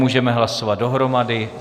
Můžeme hlasovat dohromady.